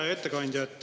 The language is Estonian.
Hea ettekandja!